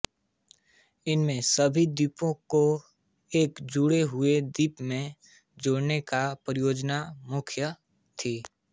इसमें सभी द्वीपों को एक जुड़े हुए द्वीप में जोडने की परियोजना मुख्य थी